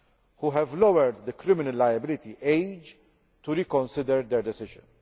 which have lowered the criminal liability age to reconsider their decision.